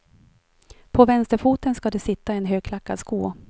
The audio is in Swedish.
På vänsterfoten ska det sitta en högklackad sko.